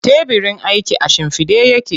Tebirin aikin a shimfiɗe yake.